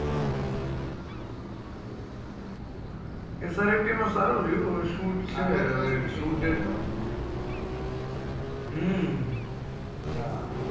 srft માં સારું રહ્યું હવે shoot છે